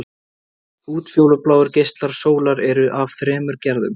Útfjólubláir geislar sólar eru af þremur gerðum.